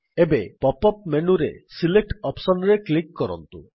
ଏବେ pop up ମେନୁରେ select option ରେ କ୍ଲିକ୍ କରନ୍ତୁ